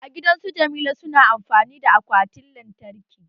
A gidan su Jamila su na amfani da akwatin lantarki